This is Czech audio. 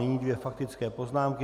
Nyní dvě faktické poznámky.